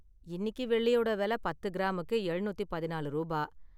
இன்னிக்கு வெள்ளியோட வெல பத்து கிராமுக்கு எழுநூத்திப் பதினாலு ரூபா.